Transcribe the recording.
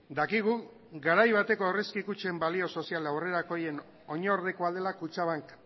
dakigu garai bateko aurrezki kutxen balio sozial aurrerakoien oinordekoa dela kutxabank